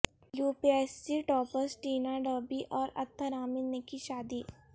UP S C toppers Tina Dabi اور اطہر عامر نے کی شادی